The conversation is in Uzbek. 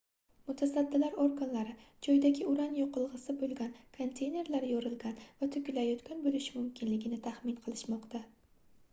mutasaddilar organlari joydagi uran yoqilgʻisi boʻlgan konteynerlar yorilgan va toʻkilayotgan boʻlishi mumkinligini taxmin qilishmoqda